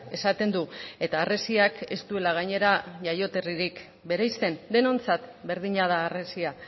esaten du eta harresiak ez duela gainera jaioterririk bereizten denontzat berdina da harresia